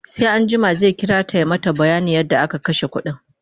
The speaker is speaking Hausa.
sai anjima zai kirata ya mata bayanin yadda ya kashe ƙuɗin